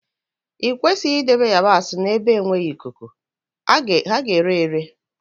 I kwesịghị idebe ịyabasị n'ebe enweghị ikuku, ha ga-ere ere